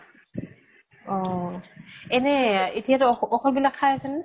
অহ । এনেই এতিয়া ঔ ঔষধ বিলাক খাই আছে নে ?